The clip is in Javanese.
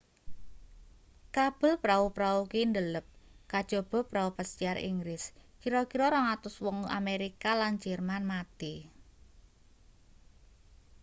kabel prau-prau kuwi ndelep kajaba prau pesiar inggris kira-kira 200 wong amerika lan jerman mati